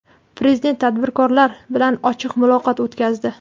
Prezident tadbirkorlar bilan ochiq muloqot o‘tkazdi.